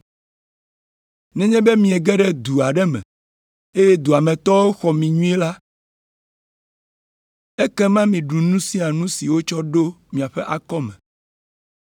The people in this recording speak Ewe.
“Nenye be miege ɖe du aɖe me eye dua me tɔwo xɔ mi nyuie la, ekema miɖu nu sia nu si wotsɔ ɖo miaƒe akɔme.